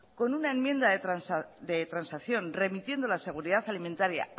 con una enmienda de transacción remitiendo la seguridad alimentaria